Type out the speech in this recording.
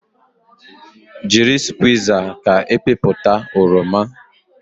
Jiri skwuiza ka ịpịpụta oroma